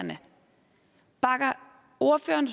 ordføreren